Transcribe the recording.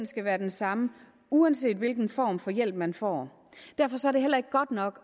skal være den samme uanset hvilken form for hjælp man får derfor er det heller ikke godt nok